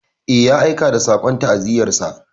Eh, ya aika da saƙon ta'aziyyarsa.